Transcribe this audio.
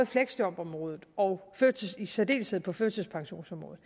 fleksjobområdet og i særdeleshed på førtidspensionsområdet